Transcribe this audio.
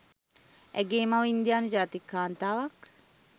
ඇගේ මව ඉන්දියානු ජාතික කාන්තාවක්